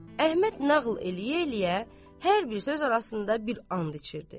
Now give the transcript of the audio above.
Əhməd nağıl eləyə-eləyə hər bir söz arasında bir and içirdi.